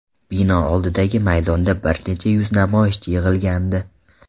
Bino oldidagi maydonda bir necha yuz namoyishchi yig‘ilgandi.